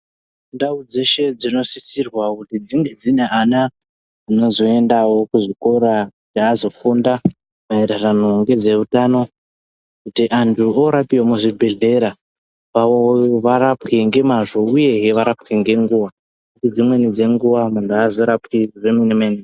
Ndau dzeshe dzinosisirwa kunge dzinevana vanozoendawo kuzvikora kuti azofunda maererano nezveutano kuti antu orapiwa muzvibhedhlera varapwe ngemazvo uyehe varapwe ngenguwa, nguwa dzimweni dzenguva, muntu haazorapwi zvemene-mene.